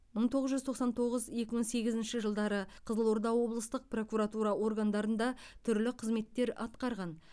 мың тоғыз жүз тоқсан тоғыз екі мың сегізінші жылдары қызылорда облыстық прокуратура органдарында түрлі қызметтер атқарған